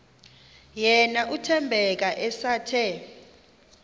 yena uthembeka esathe